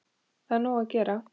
Það er nóg að gera!